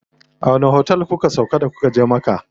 A wani otel kuka sauƙa da kuka je Makka?